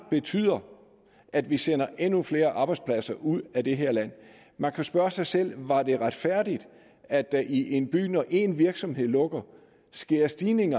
betyde at vi sender endnu flere arbejdspladser ud af det her land man kan spørge sig selv var det retfærdigt at der i en by når en virksomhed lukkede skete en stigning